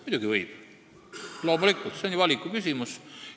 Muidugi võib, loomulikult, see on ju valikuküsimus.